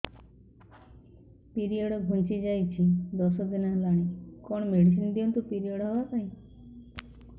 period ଘୁଞ୍ଚି ଯାଇଛି ଦଶ ଦିନ ହେଲାଣି କଅଣ ମେଡିସିନ ଦିଅନ୍ତୁ ପିରିଅଡ଼ ହଵା ପାଈଁ